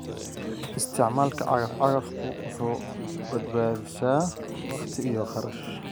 Isticmaalka cagaf-cagaftu waxay badbaadisaa waqti iyo kharash.